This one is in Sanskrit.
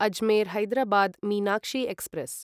अजमेर् हैदराबाद् मीनाक्षी एक्स्प्रेस्